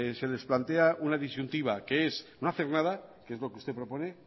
se les plantea una disyuntiva que es no hacer nada que es lo que usted propone